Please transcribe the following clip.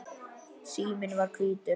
Síminn var hvítur.